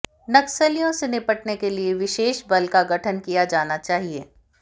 नक्सलियों से निपटने के लिए विशेषबल का गठन किया जाना चाहिए